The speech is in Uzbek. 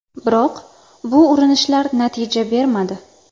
Biroq bu urinishlar natija bermadi.